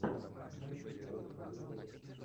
майки болтс в ютубе